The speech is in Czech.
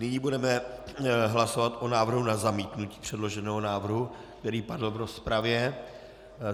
Nyní budeme hlasovat o návrhu na zamítnutí předloženého návrhu, který padl v rozpravě.